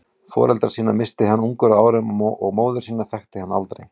Foreldra sína missti hann ungur að árum og móður sína þekkti hann aldrei.